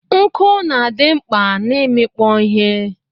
Nku na adi mkpa na imikpo ihe.